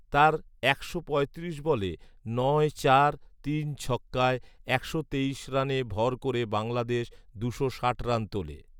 তার একশো পঁয়ত্রিশ বলে নয় চার তিন ছক্কায় একশো তেইশ রানে ভর করে বাংলাদেশ দুশো ষাট রান তোলে